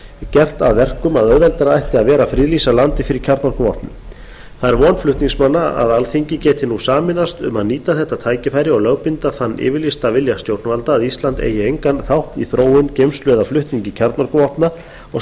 gert það að verkum að auðveldara ætti að vera að friðlýsa landið fyrir kjarnorkuvopnum það er von flutningsmanna að alþingi geti nú sameinast um að nýta þetta tækifæri og lögbinda þann yfirlýsta vilja stjórnvalda að ísland eigi engan þátt í þróun geymslu eða flutningi kjarnorkuvopna og